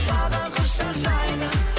саған құшақ жайдым